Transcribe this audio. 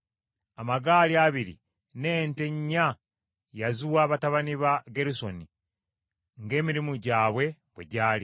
Amagaali abiri n’ente nnya yaziwa batabani ba Gerusoni, ng’emirimu gyabwe bwe gyali,